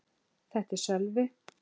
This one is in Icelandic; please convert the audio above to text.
Þetta er Sölvi.